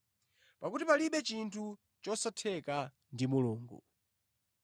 Pakuti palibe chinthu chosatheka ndi Mulungu.”